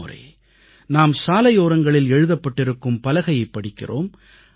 பலமுறை நாம் சாலையோரங்களில் எழுதப்பட்டிருக்கும் பலகையைப் படிக்கிறோம்